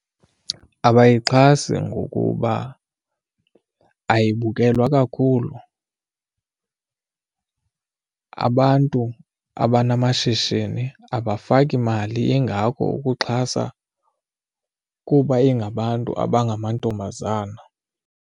Abayixhasi ngokuba ayibukelwa kakhulu, abantu abanamashishini abafaki mali ingako ukuxhasa kuba ingabantu abangamantombazana.